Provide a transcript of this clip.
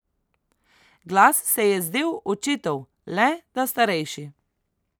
Glas se je zdel očetov, le da starejši.